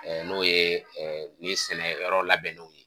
n'o ye ni sɛnɛyɔrɔ labɛnniw ye